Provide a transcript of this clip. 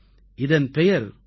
இதன் பெயர் கோ கூ